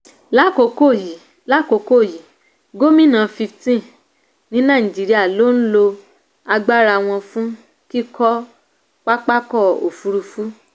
lákòókò yìí lákòókò yìí gómìnà fifteen ní nàìjíríà ló ń lo agbára wọn fún kíkọ́ pápákọ̀ òfuurufú.